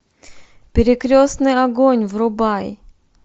перекрестный огонь врубай